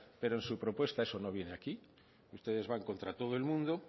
pero en su propuesta eso no viene aquí ustedes van contra todo el mundo